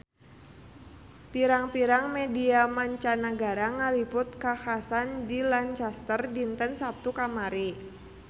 Pirang-pirang media mancanagara ngaliput kakhasan di Lancaster dinten Saptu kamari